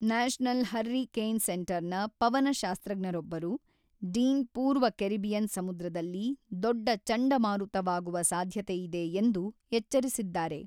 National hurricane ಸೆಂಟರ್‌ನ ಪವನಶಾಸ್ತ್ರಜ್ಞರೊಬ್ಬರು, Dean ಪೂರ್ವ ಕೆರಿಬಿಯನ್ ಸಮುದ್ರದಲ್ಲಿ ದೊಡ್ಡ ಚಂಡಮಾರುತವಾಗುವ ಸಾಧ್ಯತೆಯಿದೆ ಎಂದು ಎಚ್ಚರಿಸಿದ್ದಾರೆ.